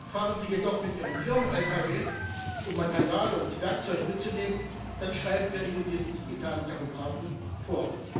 Fahren sie jedoch mit ihrem Firmen Lkw, um Material und Werkzeug mitzunehmen, dann schreiben wir ihnen diesen digitalen Tachografen vor.